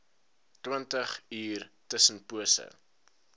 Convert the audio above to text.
twintig uur tussenpose